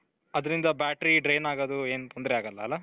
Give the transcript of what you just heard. ಅದರಿಂದ battery drain ಆಗೋದು ಏನ್ ತೊಂದ್ರೆ ಆಗಲ್ಲ ಅಲ್ಲ.